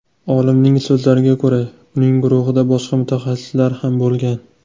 Olimning so‘zlariga ko‘ra, uning guruhida boshqa mutaxassislar ham bo‘lgan.